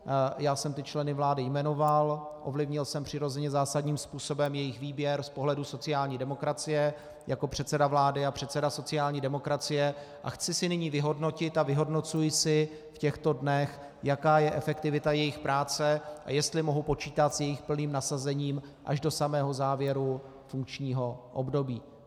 Já jsem ty členy vlády jmenoval, ovlivnil jsem přirozeně zásadním způsobem jejich výběr z pohledu sociální demokracie jako předseda vlády a předseda sociální demokracie a chci si nyní vyhodnotit a vyhodnocuji si v těchto dnech, jaká je efektivita jejich práce a jestli mohu počítat s jejich plným nasazením až do samého závěru funkčního období.